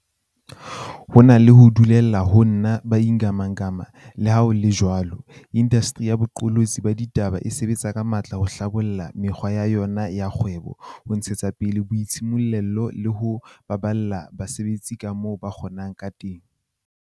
Ho na le ho dulela ho nna ba ingamangama, leha ho le jwalo, indasteri ya boqolotsi ba ditaba e sebetsa ka matla ho hlabolla mekgwa ya yona ya kgwebo, ho ntshetsa pele boitshimollelo le ho baballa basebetsi kamoo ba ka kgo nang ka teng.